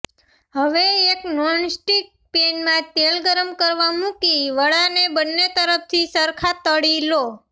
હવે એક નોનસ્ટિક પેનમાં તેલ ગરમ કરવા મૂકી વડાંને બન્ને તરફથી સરખાં તળી લો